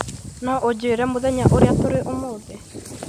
No ũnjĩĩre mũthenya ũrĩa tũrĩ ũmuthi